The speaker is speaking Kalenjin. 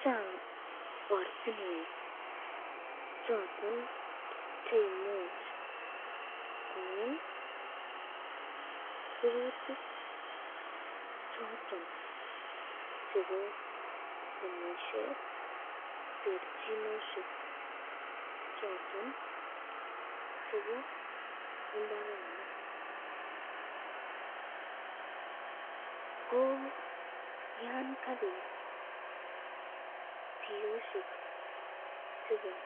Chang ortinwek choton cheimuch kongem rurutik chebo temisyet terchinosyek choton chebo imbarenik, ko yan kauit tiyosyek chebo